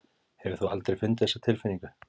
Hefur þú aldrei fundið þessa tilfinningu?